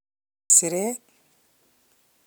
siret.